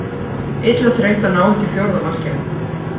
Illa þreytt að ná ekki fjórða markinu.